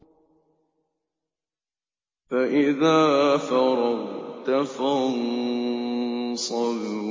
فَإِذَا فَرَغْتَ فَانصَبْ